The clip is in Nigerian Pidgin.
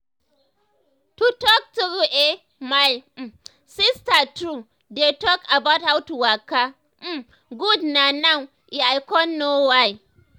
to talk true eh my um sister too um dey talk about how to waka um gud na now eh i con know why.